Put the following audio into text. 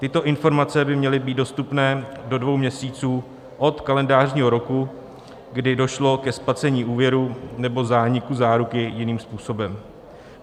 Tyto informace by měly být dostupné do dvou měsíců od kalendářního roku, kdy došlo ke splacení úvěru nebo zániku záruky jiným způsobem.